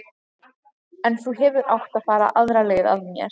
En þú hefðir átt að fara aðra leið að mér.